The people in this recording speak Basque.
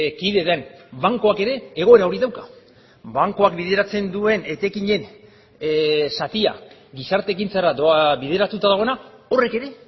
kide den bankuak ere egoera hori dauka bankuak bideratzen duen etekinen zatia gizarte ekintzara doa bideratuta dagoena horrek ere